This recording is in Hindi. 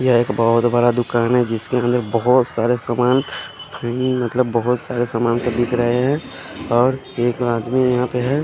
यहाँ एक बोहोत बड़ा दूकान है जिसके अन्दर बोहोत सारे सामान मतलब बोहोत सारे समान दिख रहे है और एक आदमी यहाँ पे है।